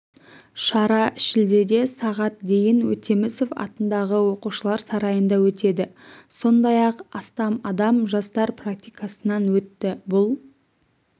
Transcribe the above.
шара шілдеде сағат дейін өтемісов атындағы оқушылар сарайында өтеді сондай-ақ астам адам жастар практикасынан өтті бұл